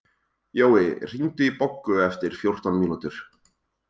Jói, hringdu í Boggu eftir fjórtán mínútur.